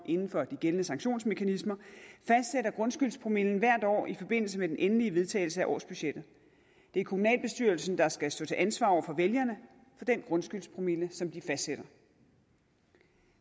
inden for de gældende sanktionsmekanismer fastsætter grundskyldspromillen hvert år i forbindelse med den endelige vedtagelse af årsbudgettet det er kommunalbestyrelsen der skal stå til ansvar over for vælgerne for den grundskyldspromille som de fastsætter